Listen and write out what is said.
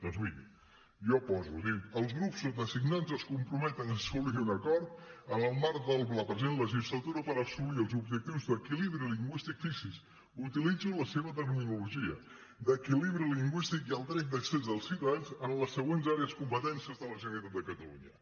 doncs miri jo poso dic els grups sotasignats es comprometen a assolir un acord en el marc de la present legislatura per assolir els objectius d’equilibri lingüístic fixi’s utilitzo la seva terminologia d’equilibri lingüístic i el dret d’accés dels ciutadans en les següents àrees competència de la generalitat de catalunya